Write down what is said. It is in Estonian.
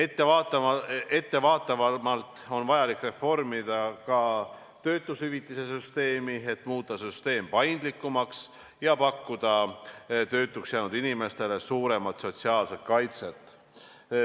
Ettevaatavamalt on vaja reformida ka töötushüvitise süsteemi, et muuta süsteem paindlikumaks ja pakkuda töötuks jäänud inimestele suuremat sotsiaalset kaitset.